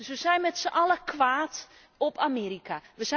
We zijn dus met z'n allen kwaad op Amerika.